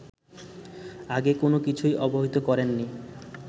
আগে কোনকিছুই অবহিত করেনি